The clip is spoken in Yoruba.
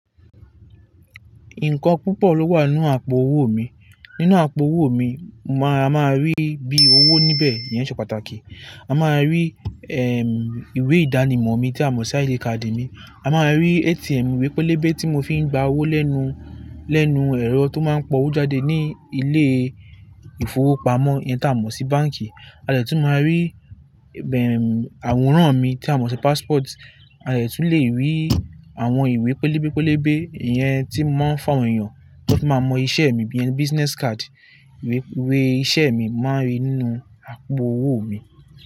Nǹkan púpọ̀ ló wà nínú àpò owó mi. Nínú àpò owó mi, a máa rí bí owó níbẹ̀ iyẹn ṣe pàtàkì. A máa rí, ehm, ìwé ìdánimọ̀ mi tí a mọ̀ sí id kádì mi. A máa rí ATM, ìwé pélébé tí mo fi ń gba owó lẹ́nu, lẹ́nu ẹ̀rọ tó máa ń pọ́ owó jáde ní ilé-ìfowópamọ́ yẹn tí a mọ̀ sí báǹkì. A lè tún máa rí, bem, àwòrán mi tí a mọ̀ sí passport. A lè tún lè rí àwọn ìwé pélébé pélébé yẹn tí mọ́ màà ń fún àwọn èèyàn, kó fi máa mọ iṣẹ́ mi iyèn bí i business card. Ìwé, ìwé iṣẹ́ mi máa rí nínú àpò owó mi.